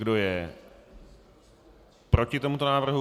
Kdo je proti tomuto návrhu?